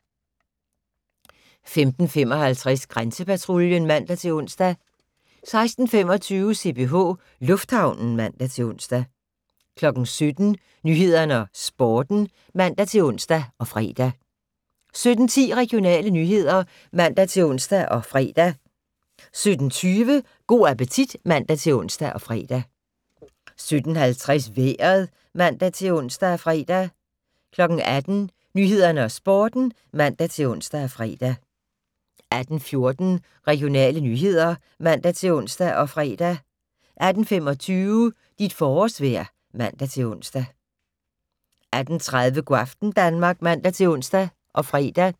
15:55: Grænsepatruljen (man-ons) 16:25: CPH Lufthavnen (man-ons) 17:00: Nyhederne og Sporten (man-ons og fre) 17:10: Regionale nyheder (man-ons og fre) 17:20: Go' appetit (man-ons og fre) 17:50: Vejret (man-ons og fre) 18:00: Nyhederne og Sporten (man-ons og fre) 18:14: Regionale nyheder (man-ons og fre) 18:25: Dit forårsvejr (man-ons) 18:30: Go' aften Danmark (man-ons og fre)